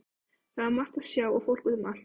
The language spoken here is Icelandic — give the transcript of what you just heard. Það var margt að sjá og fólk út um allt.